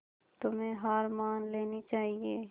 तुम्हें हार मान लेनी चाहियें